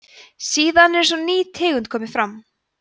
síðan er eins og ný tegund komi fram